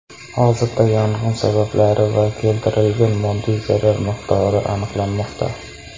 Hozirda yong‘in sabablari va keltirilgan moddiy zarar miqdori aniqlanmoqda.